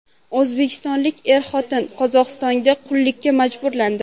O‘zbekistonlik er-xotin Qozog‘istonda qullikka majburlandi .